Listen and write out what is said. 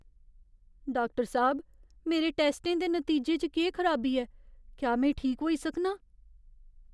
Doctor साह्ब, मेरे टैस्टें दे नतीजें च केह् खराबी ऐ? क्या में ठीक होई सकनां?